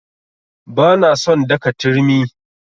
Ba na son daka a turmi.